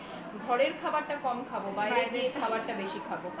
ঘরের খাবারটা কম খাবো বাইরে গিযে খাবারটা বেশি খাবো